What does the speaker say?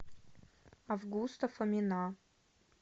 августа фомина